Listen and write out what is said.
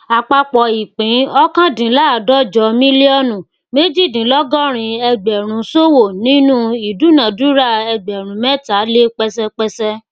àpapọ ìpín ọkàndínláàdọjọ mílíọnù méjìdínlógórin ẹgbèrún ṣòwò nínú ìdunádúrà ẹgbèrún mẹta lé pẹṣépẹṣé